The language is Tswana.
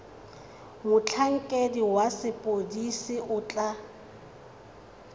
motlhankedi wa sepodisi o tla